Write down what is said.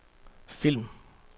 film